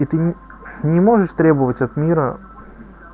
и ты не можешь требовать от мира